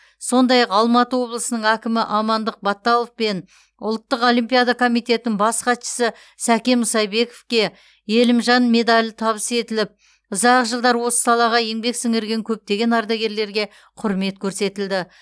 сондай ақ алматы облысының әкімі амандық баталов пен ұлттық олимпиада комитетінің бас хатшысы сәкен мұсайбековке елімжан медалі табыс етіліп ұзақ жылдар осы салаға еңбек сіңірген көптеген ардагерлерге құрмет көрсетілді